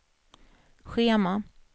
schema